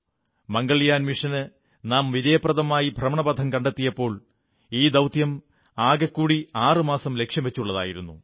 മംഗൾയാൻ മിഷന് നാം വിജയപ്രദമായി ഭ്രമണപഥം കണ്ടെത്തിയപ്പോൾ ഈ ദൌത്യം ആകെക്കൂടി 6 മാസം ലക്ഷ്യംവച്ചുള്ളതായിരുന്നു